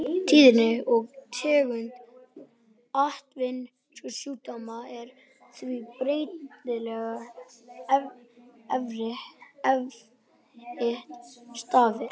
Tíðni og tegund atvinnusjúkdóma er því breytileg eftir starfi.